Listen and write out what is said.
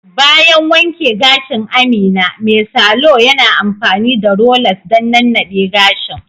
Bayan wanke gashin Amina, mai salo yana amfani da rollers don nannade gashin